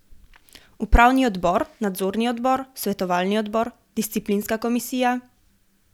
Upravni odbor, nadzorni odbor, svetovalni odbor, disciplinska komisija ...